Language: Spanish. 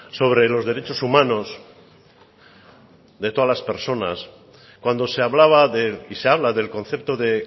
sobre los derechos humanos de todas las personas cuando se hablaba y se habla del concepto de